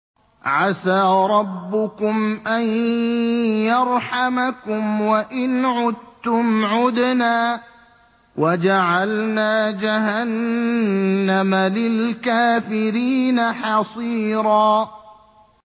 عَسَىٰ رَبُّكُمْ أَن يَرْحَمَكُمْ ۚ وَإِنْ عُدتُّمْ عُدْنَا ۘ وَجَعَلْنَا جَهَنَّمَ لِلْكَافِرِينَ حَصِيرًا